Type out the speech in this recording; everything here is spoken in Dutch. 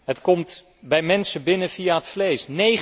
Het komt bij mensen binnen via het vlees.